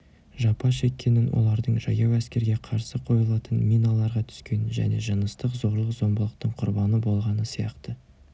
жапа шеккенін олардың жаяу әскерге қарсы қойылатын миналарға түскенін және жыныстық зорлық-зомбылықтың құрбаны болғаны сияқты